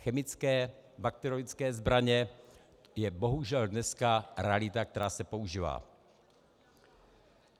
Chemické, bakteriologické zbraně je bohužel dneska realita, která se používá.